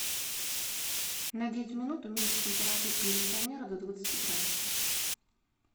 на девять минут уменьшить температуру кондиционера до двадцати градусов